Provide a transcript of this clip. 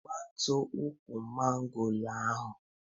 Gbutuo ukwu mangoro ahụ!